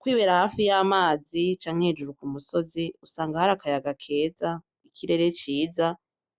Kwibera hafi y'amazi canke hejuru ku musozi usanga hari akayaga keza ,ikirere ciza